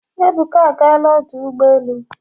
Ebuka agaala ọdụ ụgbọ elu.